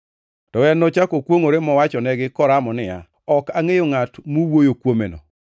To en nochako kwongʼore mowachonegi koramo niya, “Ok angʼeyo ngʼat muwuoyo kuomeno.”